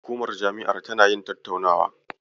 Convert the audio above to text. Hukumar jami'ar tana yin tattaunawa.